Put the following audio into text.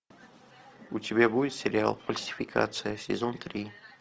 у тебя будет сериал фальсификация сезон три